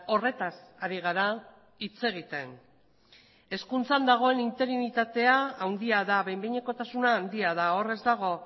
horretaz ari gara hitz egiten hezkuntzan dagoen interinitatea handia da behin behinekotasuna handia da hor ez dago